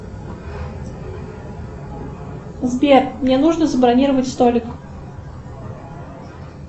сбер мне нужно забронировать столик